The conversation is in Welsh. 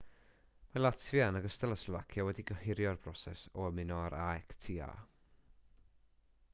mae latfia yn ogystal â slofacia wedi gohirio'r broses o ymuno â'r acta